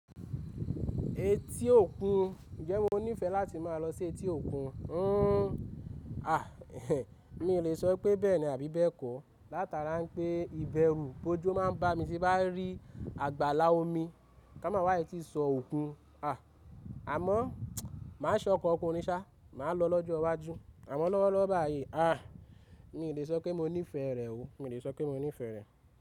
Etí òkun? Ǹjẹ́ mo nífẹ̀ẹ́ láti máa lọ sí etí òkun? Mi ò lè sọ pé bẹ́ẹ̀ni àbí bẹ́ẹ̀ kọ. Látara n pé ìbẹrù bojo máa ń bá mi tí n bá rí àgbàlá omi. Ká máa wá í tí sọ òkun. Àmọ́ máa ṣọkọ òkunrin ṣà, màá lọ lọ́jọ́ iwájú. Àmọ́ lọ́wọ́lọ́wọ́ báyìí, mi lè sọ pé mo nífẹ̀ẹ́ rẹ̀ o, mi lè sọ pé mo nífẹ̀ẹ́ rẹ̀.